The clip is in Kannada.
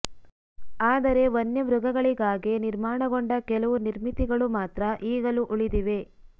ಆದರೆ ವನ್ಯ ಮೃಗಗಳಿಗಾಗಿ ನಿರ್ಮಾಣಗೊಂಡ ಕೆಲವು ನಿರ್ಮಿತಿಗಳು ಮಾತ್ರ ಈಗಲೂ ಉಳಿದಿವೆ